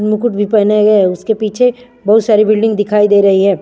मुकुट भी पहनाए गए उसके पीछे बहुत सारी बिल्डिंग दिखाई दे रही है।